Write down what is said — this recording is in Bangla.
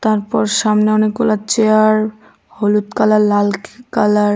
তারপর সামনে অনেক গুলা চেয়ার হলুদ কালার লাল কালার ।